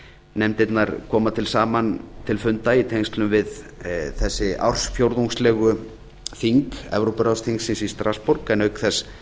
nefndirnar koma saman til funda í tengslum við þessi ársfjórðungslegu þing evrópuráðsþingsins í strassborg en auk þess